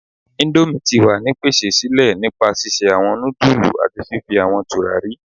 indomie ti wa ni pese sile nipa sise awọn nudulú ati fifi awọn turari